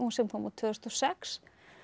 sem kom út tvö þúsund og sex